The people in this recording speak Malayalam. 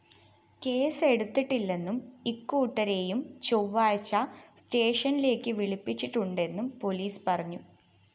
കേസെടുത്തിട്ടില്ലെന്നും ഇരുകൂട്ടരെയും ചൊവ്വാഴ്ച സ്‌റ്റേഷനിലേക്ക് വിളിപ്പിച്ചിട്ടുണ്ടെന്നും പൊലീസ് പറഞ്ഞു